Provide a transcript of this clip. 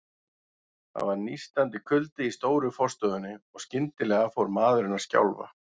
Það var nístandi kuldi í stóru forstofunni, og skyndilega fór maðurinn að skjálfa.